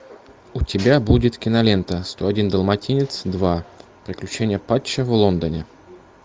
у тебя будет кинолента сто один далматинец два приключения патча в лондоне